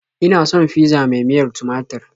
Ina son fizza mai miyar tumatur.